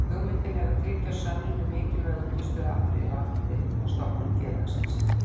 Hugmyndin er að tryggja sönnun um mikilvæg undirstöðuatriði varðandi stofnun félagsins.